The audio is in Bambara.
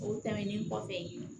O tɛmɛnen kɔfɛ